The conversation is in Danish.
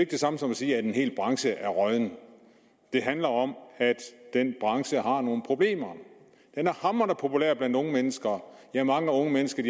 det samme som at sige at en hel branche er rådden det handler om at den branche har nogle problemer den er hamrende populær blandt unge mennesker ja mange unge mennesker